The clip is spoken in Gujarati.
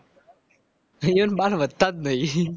એવો ના બાલ વધતા જ નહીં.